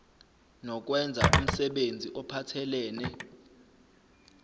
nokwenza umsebenzi ophathelene